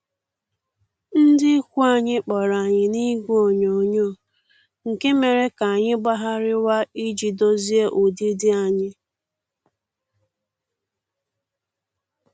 Ndị ikwu anyị kpọrọ anyị n'igwe onyoghonyoo, nke a mere ka anyị gbagharịwa iji dozie ụdịdị anyị